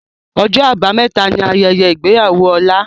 Ọjọ́ Àbámẹ̀ta ni Ayẹyẹ ìgbéyàwó Ọlá